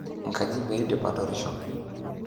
Enkaji peidip atarisho.